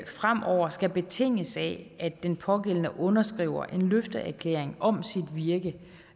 fremover skal betinges af at den pågældende underskriver en løfteerklæring om sit virke